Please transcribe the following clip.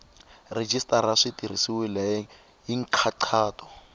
rhejisitara swi tirhisiwile hi nkhaqato